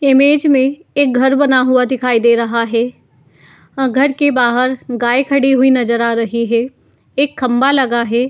Image में एक घर बना हुआ दिखाई दे रहा है। अ घर के बाहर एक गाय खड़ी हुई नजर आ रही है। एक खंभा लगा है।